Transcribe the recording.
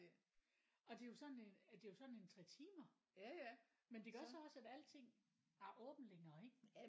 Og det er jo sådan øh det er jo sådan en 3 timer men det gør så også at alting har åbent længere ikke